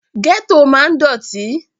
Gẹ́tò máa ń dọ̀tí